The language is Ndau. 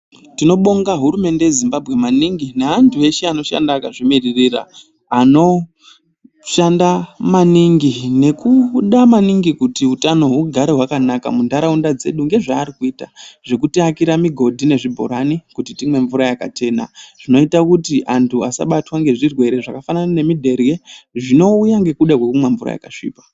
Tinobonga hurumende yeZimbabwe maningi neantu eshe anoshanda akazvimiririra, anoshanda maningi nekuda maningi kuti hutano hugare hwakanaka muntaraunda dzedu ngezvaari kuita, zvekutiakira migodhi nezvibhorani kuti timwe mvura yakachena, zvinoita kuti antu asabatwa ngezvirwere zvakafanana nemudherye zvinouya ngekuda kwekumwa mvura yakasvipa.